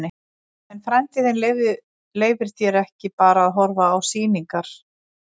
En frændi þinn leyfir þér ekki bara að horfa á sýningar.